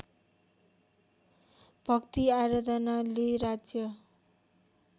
भक्ति आराधनाले राज्य